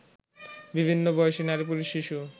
বিভিন্ন বয়সী নারী-পুরুষ-শিশু